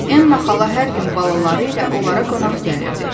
Ennal xala hər gün balaları ilə onlara qonaq gəlirdi.